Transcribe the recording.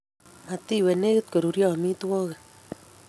Matiwe negit koruryo amitwogik